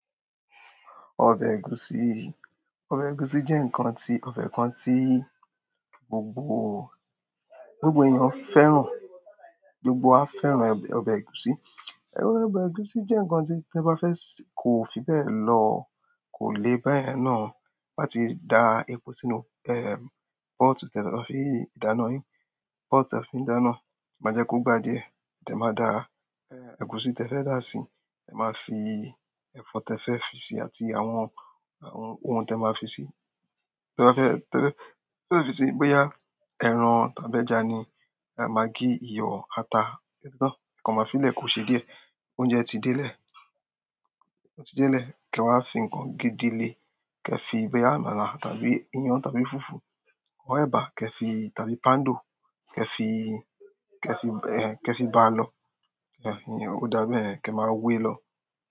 Ọbẹ̀ ẹ̀gúsí, ọbẹ̀ ẹ̀gúsí jẹ́ ǹkan tí, ọbẹ̀ kan tí gbogbo, gbogbo èèyàn fẹ́ràn, gbogbo wá fẹ́ràn ọbẹ̀ ẹ̀gúsí. Ọbẹ̀ ẹ̀gúsí jẹ́ ǹkan tí tí ẹ bá fẹ́ sè, kó fi bẹ́ẹ̀ lọ, kò le bá yẹn náà. Te bá tí dà epo sínú, ehm, pot tí ẹ máa fi dáná yín, pot tí ẹ fi ń dáná, e má jẹ́ kó gbà díẹ̀. Ẹ má dà, ẹ́, ẹ̀gúsí tí ẹ fẹ́ dà sí, ẹ má fi ẹ̀fọ́ tí ẹ fẹ́ fi sè àti àwọn, àwọn ohun tí ẹ máa fi sè, tí ẹ bá fẹ́, tí ẹ fẹ́, tí ẹ fẹ́ fi sè boyà, ẹran tàbí ẹja ni, magí, iyọ̀, ata, oti tan ẹ kan má filẹ̀ kó ṣe díẹ̀, oúnjẹ ti delẹ̀, oúnjẹ ti délẹ̀. Kí ẹ wá fi ǹkan gédí lé, kí ẹ fi boyà àmàlà tàbí iyán tàbí fufu, ọr ebá, kí ẹ fi tàbí pando, kí ẹ fi, kí ẹ fi, ẹ́, kí ẹ fi bá lọ. A iyen ó dábẹ́, kí ẹ má wẹ́ lọ.